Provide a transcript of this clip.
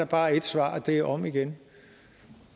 bare er ét svar og det er om igen